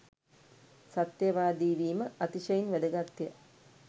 සත්‍යවාදී වීම, අතිශයින් වැදගත්ය.